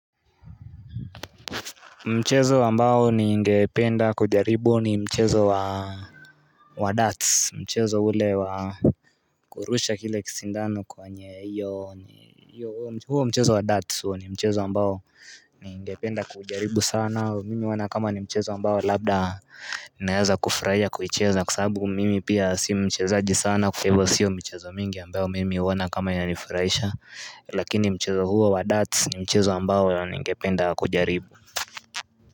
Mchezo ambao ningependa kujaribu ni mchezo wa wa darts mchezo ule wa kurusha kile kisindano kwenye hiyo huo mchezo wa darts huo ni mchezo ambao Ningependa kujaribu sana mimi huona kama ni mchezo ambao labda Naeza kufurahia kuicheza kwa sababu mimi pia si mchezaji sana kwa Hivyo siyo michezo mingi ambayo mimi huona kama inanifraisha lakini mchezo huo wa darts ni mchezo ambao ningependa kujaribu.